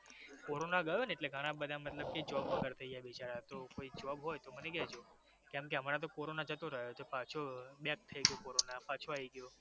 corona ગયો ને એટલે ઘણા બધા મતલબ કી job વગર થઈ ગયા બિચારા તો કોઈ જોબ હોય તો મને કેજો કેમ કે હમણાં તો કોરોના જતો રહયો છે પાછો back થઈ ગયું કોરોના પાછુ આવી ગયું